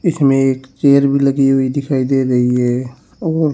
इसमें एक चेयर भी लगी हुई दिखाई दे रही है और--